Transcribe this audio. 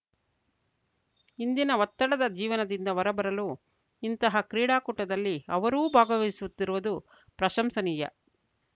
ಇಂದಿನ ಒತ್ತಡದ ಜೀವನದಿಂದ ಹೊರಬರಲು ಇಂತಹ ಕ್ರೀಡಾಕೂಟದಲ್ಲಿ ಅವರೂ ಭಾಗವಹಿಸುತ್ತಿರುವುದು ಪ್ರಶಂಶನೀಯ